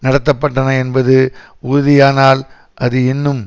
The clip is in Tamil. நடத்த பட்டன என்பது உறுதியானால் அது இன்னும்